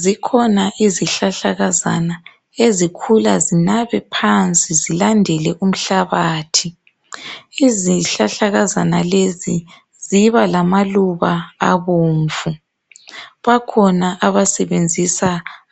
Zikhona izihlahlakazana ezikhula zinabe phansi zilandele umhlabathi. Izihlahlakazana lezi, ziba lamaluba abomvu. Bakhona abasebenzisa